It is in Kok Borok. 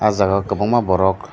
o jaga o kobangma borok.